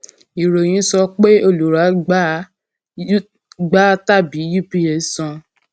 ìròyìn sọ pé olùrà gba u gba tàbí ups san